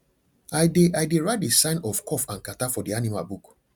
i dey i dey write the sign of cough and catarrh for the animal book